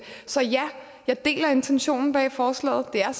så ja jeg deler intentionen bag forslaget det er